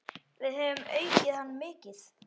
Við höfum aukið hann mikið.